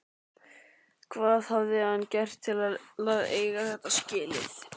Hvað hafði hann gert til að eiga þetta skilið?